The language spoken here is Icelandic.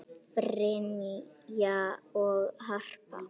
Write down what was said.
Brynja og Harpa.